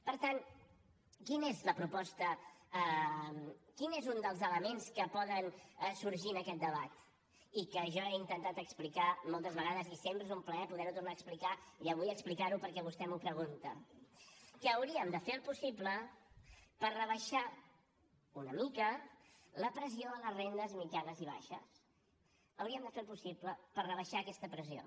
per tant quina és la proposta quin és un dels elements que poden sorgir en aquest debat i que jo he intentat explicar moltes vegades i sempre és un plaer poder ho tornar a explicar i avui explicar ho perquè vostè m’ho pregunta que hauríem de fer el possible per rebaixar una mica la pressió a les rendes mitjanes i baixes hauríem de fer el possible per rebaixar aquesta pressió